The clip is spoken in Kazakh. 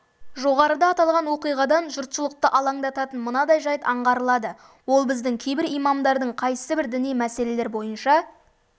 жоғарыда аталған оқиғадан жұртшылықты алаңдататын мынадай жайт аңғарылады ол біздің кейбір имамдардың қайсыбір діни мәселелер бойынша